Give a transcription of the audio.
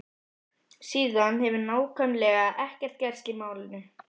Síðan hefur nákvæmlega ekkert gerst í málinu.